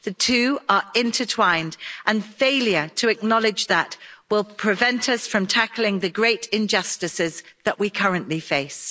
The two are intertwined, and failure to acknowledge that will prevent us from tackling the great injustices that we currently face.